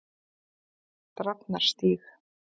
Drafnarstíg